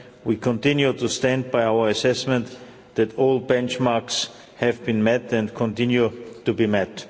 We continue to stand by our assessment that all benchmarks have been met and continue to be